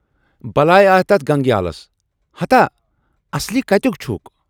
بلایہِ آیہِ تتھ گنگیالس، ہتھاہ اصلی کتٮُ۪کھ چھُکھ؟